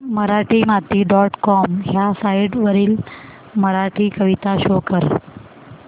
Marathimati dot com ह्या site वरील मराठी कविता शो कर